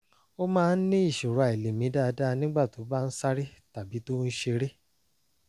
ó máa ń ní ìṣòro àìlèmí dáadáa nígbà tó bá ń sáré tàbí tó ń ṣeré